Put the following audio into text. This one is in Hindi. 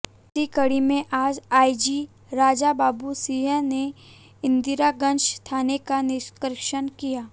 इसी कड़ी में आज आईजी राजाबाबू सिंह ने इंदरगंज थाने का निरिक्षण किया